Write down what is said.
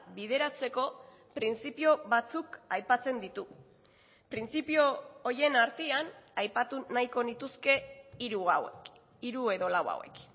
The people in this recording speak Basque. bideratzeko printzipio batzuk aipatzen ditugu printzipio horien artean aipatu nahiko nituzke hiru hauek hiru edo lau hauek